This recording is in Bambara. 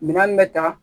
Minan bɛ ta